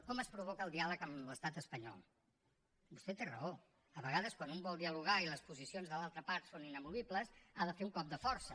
com es provoca el diàleg amb l’estat espanyol vostè té raó a vegades quan un vol dialogar i les posicions de l’altra part són inamovibles ha de fer un cop de força